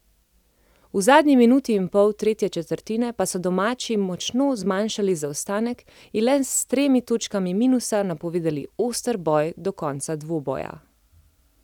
V zadnji minuti in pol tretje četrtine pa so domači močno zmanjšali zaostanek in z le tremi točkami minusa napovedali oster boj do konca dvoboja.